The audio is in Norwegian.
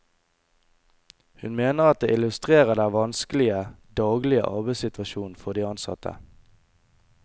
Hun mener at det illustrerer den vanskelige, daglige arbeidssituasjonen for de ansatte.